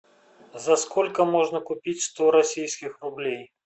за сколько можно купить сто российских рублей